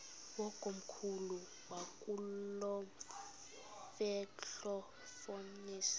wakomkhulu wakulomfetlho fonis